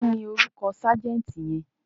Kí ni orúkọ ságẹ́ǹtì yẹn?